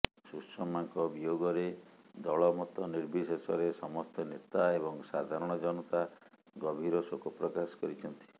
ସୁଷମାଙ୍କ ବିୟୋଗରେ ଦଳ ମତ ନିର୍ବିଶେଷରେ ସମସ୍ତ ନେତା ଏବଂ ସାଧାରଣ ଜନତା ଗଭୀର ଶୋକ ପ୍ରକାଶ କରିଛନ୍ତି